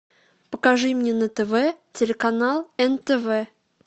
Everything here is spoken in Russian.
покажи мне на тв телеканал нтв